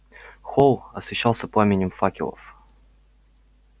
холл освещался пламенем факелов